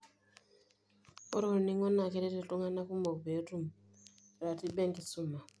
Ore ornig'o naa keret iltung'ana kumok pee etum ratiba enkisuma.